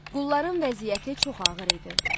Qulların vəziyyəti çox ağır idi.